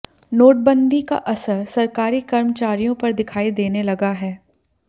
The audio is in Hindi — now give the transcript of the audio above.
नोटंबदी का असर सरकारी कर्मचारियों पर दिखाई देने लगा है